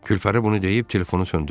Külpəri bunu deyib telefonu söndürdü.